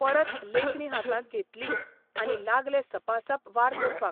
परत लेखणी हातांत घेतली आनी लागले सपासप वार करपाक.